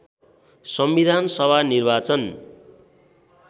संविधान सभा निर्वाचन